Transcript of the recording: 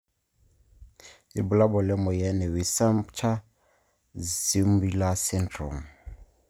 Ibulabul lemoyian e Weissenbacher Zweymuller syndrome.